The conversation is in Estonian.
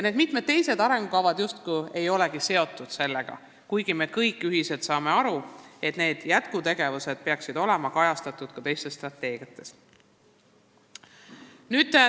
Mitmed teised arengukavad justkui ei olegi selle teemaga seotud, kuigi me kõik saame aru, et need jätkutegevused peaksid olema kajastatud muudeski strateegiates.